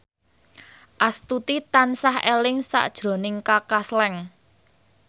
Astuti tansah eling sakjroning Kaka Slank